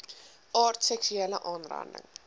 aard seksuele aanranding